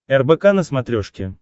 рбк на смотрешке